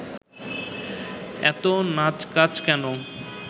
এত নাচকাচ কেন